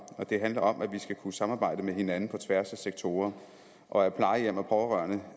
og det handler om at vi skal kunne samarbejde med hinanden på tværs af sektorer og at plejehjem og pårørende